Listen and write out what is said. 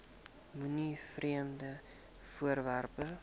moenie vreemde voorwerpe